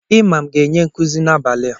Imam ga-enye nkuzi n'abalị a.